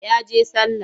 Ya je sallah.